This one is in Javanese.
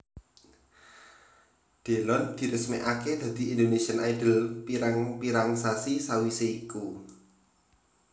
Delon diresmékaké dadi Indonesian Idol pirang pirang sasi sawisé iku